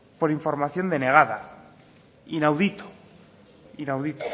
por información denegada inaudito inaudito